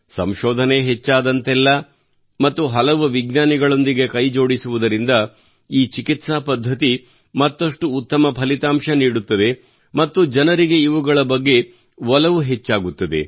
ಸಂಶೋಧನೆ ಹೆಚ್ಚಾದಂತೆಲ್ಲಾ ಮತ್ತು ಹಲವು ವಿಜ್ಞಾನಿಗಳೊಂದಿಗೆ ಕೈಜೋಡಿಸುವುದರಿಂದ ಈ ಚಿಕಿತ್ಸಾ ಪದ್ಧತಿ ಮತ್ತಷ್ಟು ಉತ್ತಮ ಫಲಿತಾಂಶ ನೀಡುತ್ತದೆ ಮತ್ತು ಜನರಿಗೆ ಇವುಗಳ ಬಗ್ಗೆ ಒಲವು ಹೆಚ್ಚಾಗುತ್ತದೆ